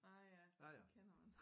Ah ja det kender man